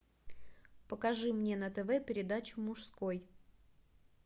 покажи мне на тв передачу мужской